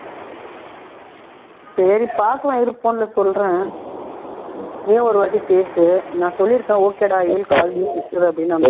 சரி பாக்கலாம் இரு phone ல சொல்றேன் நீயும் ஒருவாட்டி பேசு நான் சொல்லிருக்கிறேன் okay டா i will call you னு